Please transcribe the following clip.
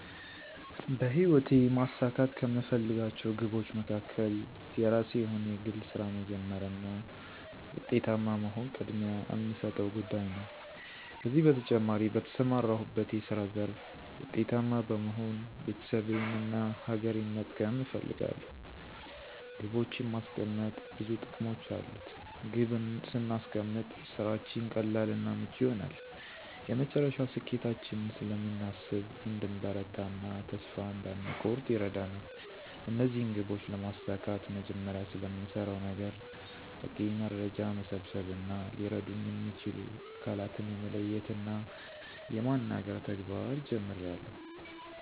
በሕይወቴ ማሳካት ከምፈልጋቸው ግቦች መካከል የራሴ የሆነ የግል ሥራ መጀመር እና ዉጤታማ መሆን ቅድሚያ እምሰጠው ጉዳይ ነው። ከዚህ በተጨማሪ በተሰማራሁበት የስራ ዘርፍ ዉጤታማ በመሆን ቤተሰቤን እና ሀገሬን መጥቀም እፈልጋለሁ። ግቦችን ማስቀመጥ ብዙ ጥቅሞች አሉት። ግብ ስናስቀምጥ ስራችን ቀላል እና ምቹ ይሆናል፤ የመጨረሻ ስኬታችንን ስለምናስብ እንድንበረታ እና ተስፋ እንዳንኮርጥ ይረዳናል። እነዚህን ግቦች ለማሳካት መጀመሪያ ስለምሰራው ነገር በቂ መረጃ መሰብሰብ እና ሊረዱኝ እሚችሉ አካላትን የመለየት እና የማናገር ተግባር ጀምሬአለሁ።